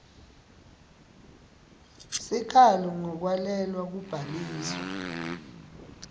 sikhalo ngekwalelwa kubhaliswa